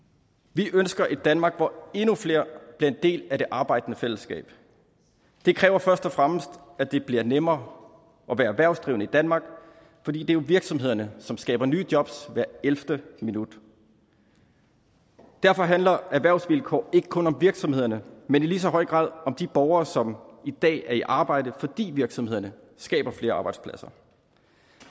vi ønsker et danmark hvor endnu flere bliver en del af det arbejdende fællesskab det kræver først og fremmest at det bliver nemmere at være erhvervsdrivende i danmark fordi det jo er virksomhederne som skaber nye jobs hver ellevte minut derfor handler erhvervsvilkår ikke kun om virksomhederne men i lige så høj grad om de borgere som i dag er i arbejde fordi virksomhederne skaber flere arbejdspladser